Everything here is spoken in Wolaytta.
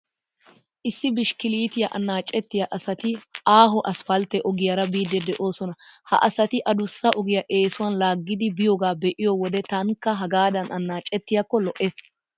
Issi bishkkiliitiyaa annaacettiyaa asati aaho asppaltte ogiyaara biiddi de'oosona. Ha asati adussa ogiyaa eesuwaan laaggiiddi biyoogaa be'iyo wode taanikka hagaadan annaacettiyaakko lo'ees.